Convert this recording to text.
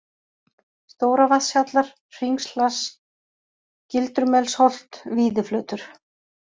Stóravatnshjallar, Hringshlass, Gildrumelsholt, Víðiflötur